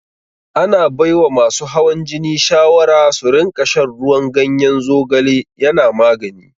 Ana baiwa masu hawan jini shawara su rinƙa shan ruwan ganyen zogale yana magani.